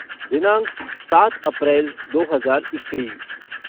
दिनांक सात अप्रैल दो हज़ार इक्कीस